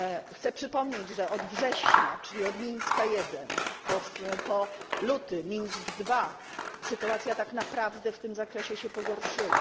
Chcę przypomnieć, że od września, czyli od Mińska I, po luty Mińsk II sytuacja tak naprawdę w tym zakresie się pogorszyła.